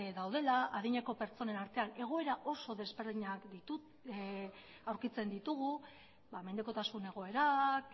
daudela adineko pertsonen artean egoera oso ezberdinak aurkitzen ditugu mendekotasun egoerak